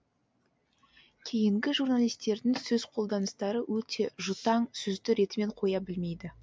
кейінгі журналистердің сөз қолданыстары өте жұтаң сөзді ретімен қоя білмейді